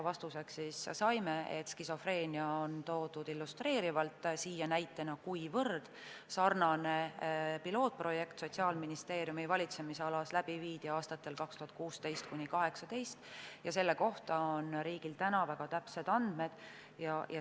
Vastuseks saime, et skisofreenia on toodud illustreerivalt näitena, kuivõrd sarnane pilootprojekt Sotsiaalministeeriumi valitsemisalas viidi läbi aastatel 2016–2018 ja selle kohta on riigil väga täpsed andmed.